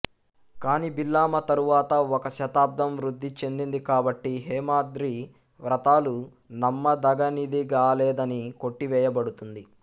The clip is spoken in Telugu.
కాని భిల్లామా తరువాత ఒక శతాబ్దం వృద్ధి చెందింది కాబట్టి హేమద్రి వ్రాతలు నమ్మదగనిదిగాలేదని కొట్టివేయబడుతుంది